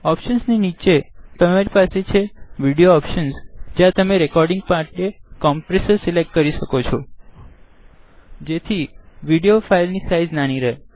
નીચે તમારી પાસે છે વીડિયો ઓપ્શન્સ જ્યાં તમે રેકોડીંગ પાર્ટનું કોમ્પ્રેસર સિલેક્ટ કરી શકો છોજેથી વિડીઓ ફાઈલની સાઈઝ નાની રહે